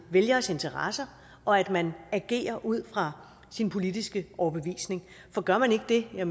vælgeres interesser og at man agerer ud fra sin politiske overbevisning for gør man ikke det er